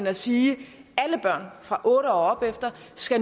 at sige at alle børn fra otte år og opefter